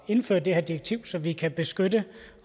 indføre det her direktiv så vi også kan beskytte